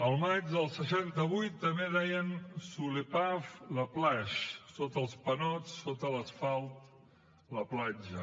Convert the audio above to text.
al maig del seixanta vuit també deien sous les pavés la plage sota els panots sota l’asfalt la platja